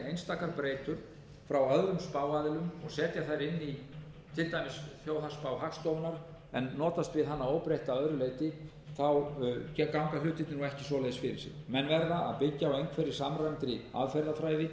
einstakar breytur frá öðrum spáaðilum og setja þær inn í til dæmis þjóðhagsspá hagstofunnar en notast við hana óbreytta að öðru leyti ganga hlutirnir nú ekki svoleiðis fyrir sig menn verða að byggja á einhverri samræmdri aðferðafræði þar sem aðstæður eru metnar